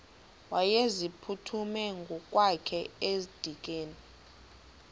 wayeziphuthume ngokwakhe edikeni